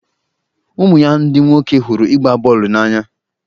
ụmụ ya ndị nwoke hụrụ ịgba bọọlụ n'anya.